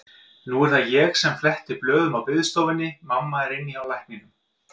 Nú er það ég sem fletti blöðum á biðstofunni, mamma er inni hjá lækninum.